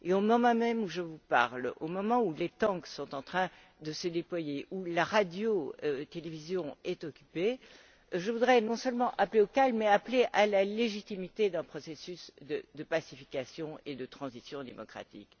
Au moment même où je vous parle, au moment où les tanks sont en train de se déployer, où la radio télévision est occupée, je voudrais non seulement appeler au calme, mais appeler à la légitimité d'un processus de pacification et de transition démocratique.